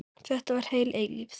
Þetta var heil eilífð.